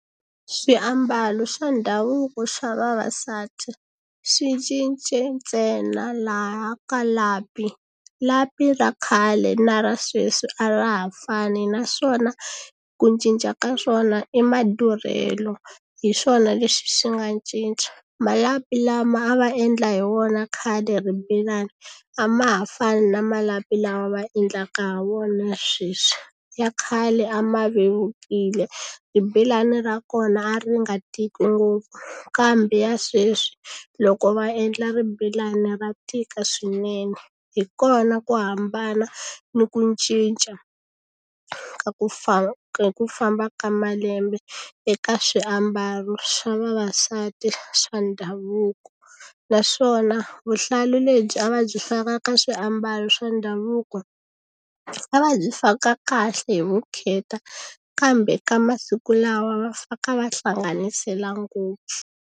Swiambalo swa ndhavuko swa vavasati swi cince ntsena laha ka lapi lapi ra khale na ra sweswi a ra ha fani naswona ku cinca ka swona i madurhelo hi swona leswi swi nga cinca malapi lama a va endla hi wona khale ribelani a ma ha fani na malapi lama ma endlaka ha wona ya sweswi ya khale a ma vevukile ribelani ra kona a ri nga tiki ngopfu kambe ya sweswi loko va endla ribelani ra tika swinene hi kona ku hambana ni ku cinca ka ku hi ku famba ka malembe eka swiambalo swa vavasati swa ndhavuko naswona vuhlalu lebyi a va byi faka ka swiambalo swa ndhavuko a va byi faka kahle hi vukheta kambe ka masiku lawa va faka va hlanganisela ngopfu.